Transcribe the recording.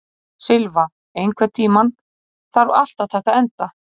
Silfa, einhvern tímann þarf allt að taka enda.